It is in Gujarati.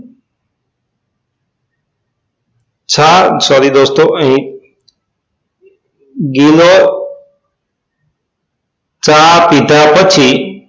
ચા sorry દોસ્તો અહી ગિલો ચા પીધા પછી